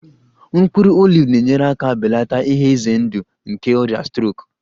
Mkpụrụ oliv na-enyere aka belata ihe ize ndụ nke ọrịa strok